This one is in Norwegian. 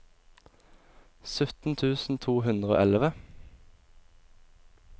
sytten tusen to hundre og elleve